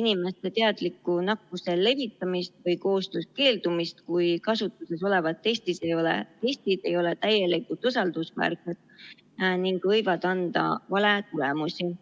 inimeste teadlikku nakkuste levitamist või koostööst keeldumist, kui kasutuses olevad testid ei ole täielikult usaldusväärsed ning võivad anda valetulemusi.